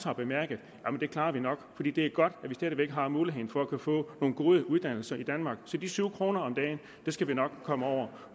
har bemærket at det klarer de nok fordi det er godt at de stadig væk har muligheden for at få nogle gode uddannelser i danmark så de syv kroner om dagen skal de nok komme over